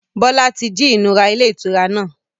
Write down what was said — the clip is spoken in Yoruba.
Bọlá tí jí ìnura ilé ìtura náà.